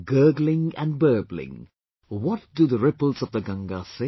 Gurgling and burbling, what do the ripples of the Ganga say